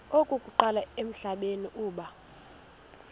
okokuqala emhlabeni uba